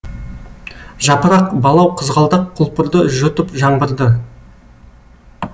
жапырақ балау қызғалдақ құлпырды жұтып жаңбырды